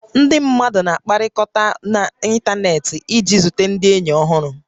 Ndị mmadụ na-akpakọrị̀ta n'ịntanetị iji zute ndị ényì ọhụrụ